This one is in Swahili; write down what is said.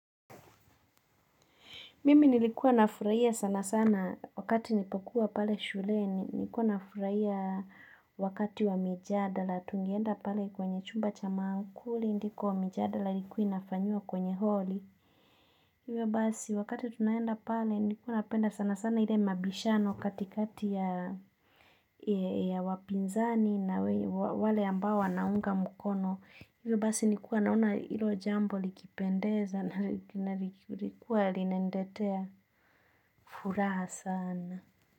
Mimi nilikuwa nafurahia sana sana wakati nilipokuwa pale shuleni, nilikuwa nafurahia wakati wa mijadala, tungeenda pale kwenye chumba cha mamkuli, ndiko mijadala ilikuwa inafanyiwa kwenye holi. Iwe basi, wakati tunaenda pale, nilikuwa napenda sana sana ile mabishano katikati ya wapinzani na wale ambao wanaunga mukono. Ivyo basi nilikuwa naona ilo jambo likipendeza na lilikuwa linaniletea furaha sana.